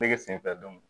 Nege sen fɛ dɔnku